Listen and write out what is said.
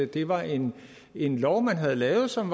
det var en en lov man havde lavet som